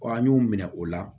an y'u minɛ o la